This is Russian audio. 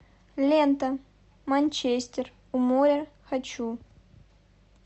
лента манчестер у моря хочу